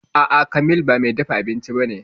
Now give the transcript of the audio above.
A'a, Kamil ba mai dafa abinci ba ne